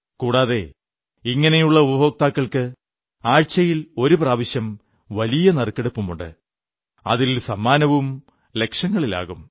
കൂടാതെ ഇങ്ങനെയുള്ള ഉപഭോക്താക്കൾക്ക് ആഴ്ചയിൽ ഒരു പ്രാവശ്യം വലിയ നറുക്കെടുപ്പുണ്ട് അതിൽ സമ്മാനവും ലക്ഷങ്ങളിലാകും